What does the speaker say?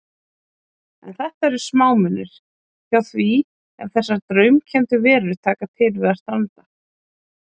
En þetta eru smámunir hjá því ef þessar draumkenndu verur taka til við að stranda.